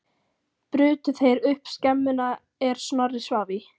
Brutu þeir upp skemmuna er Snorri svaf í.